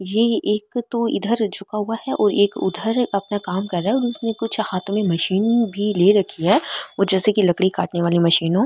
ये एक तो इधर झुका हुआ है और एक उधर अपना काम कर रहा है और उसने हाथो में मशीन भी ले रखी है वो जैसे की लकड़ी काटने वाली मशीन हो।